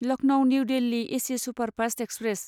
Lucknow new Delhi AC superfast express